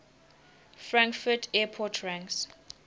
frankfurt airport ranks